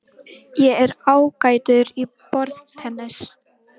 Ég er ágætur í borðtennis.